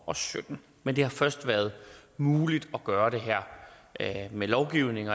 og sytten men det har først været muligt at gøre det her med lovgivning